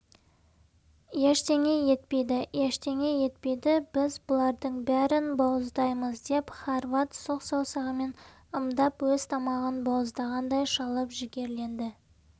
ештеңе етпейді ештеңе етпейді біз бұлардың бәрін бауыздаймыз деп хорват сұқ саусағымен ымдап өз тамағын бауыздағандай шалып жігерленді